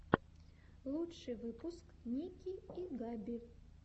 лучший выпуск ники и габи